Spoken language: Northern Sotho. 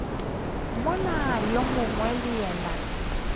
mola yo mongwe le yena